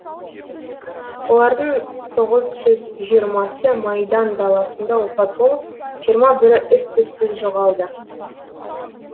олардың тоғыз жүз жиырмасы майдан даласында опат болып жиырма бірі із түзсіз жоғалды